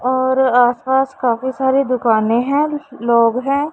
और आसपास काफी सारी दुकानें हैं लोग हैं।